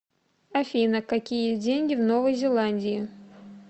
афина какие деньги в новой зеландии